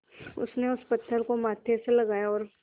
उसने उस पत्थर को माथे से लगाया और